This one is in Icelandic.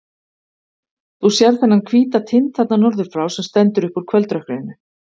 Þú sérð þennan hvíta tind þarna norður frá, sem stendur upp úr kvöldrökkrinu.